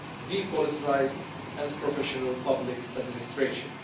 depoliticised and professional public administration.